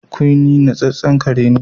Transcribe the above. Quinnie natsetsen kare ne